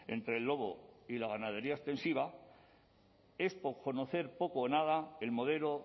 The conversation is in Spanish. entre el lobo y la ganadería extensiva es conocer poco o nada el modelo